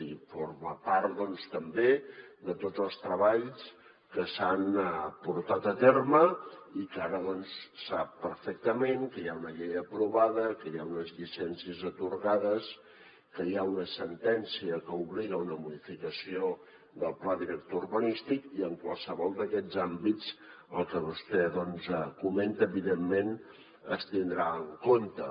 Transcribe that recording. i forma part doncs també de tots els treballs que s’han portat a terme i que ara sap perfectament que hi ha una llei aprovada que hi ha unes llicències atorgades que hi ha una sentència que obliga a una modificació del pla director urbanístic i en qualsevol d’aquests àmbits el que vostè comenta evidentment es tindrà en compte